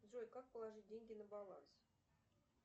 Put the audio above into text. джой как положить деньги на баланс